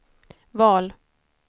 val